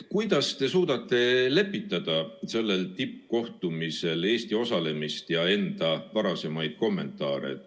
Kuidas te suudate lepitada Eesti osalemist sellel tippkohtumisel ja enda varasemaid kommentaare?